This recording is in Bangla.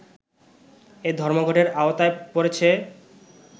এই ধর্মঘটের আওতায় পড়েছে